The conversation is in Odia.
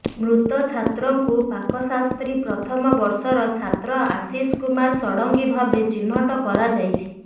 ମୃତ ଛାତ୍ରଙ୍କୁ ପାକଶାସ୍ତ୍ରୀ ପ୍ରଥମ ବର୍ଷର ଛାତ୍ର ଆଶିଷ କୁମାର ଷଡ଼ଙ୍ଗୀ ଭାବେ ଚିହ୍ନଟ କରାଯାଇଛି